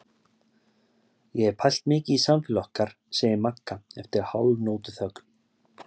Ég hef pælt mikið í samfélagi okkar, segir Magga eftir hálfnótuþögn.